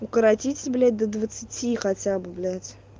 укоротить блять до двадцати хотя бы блять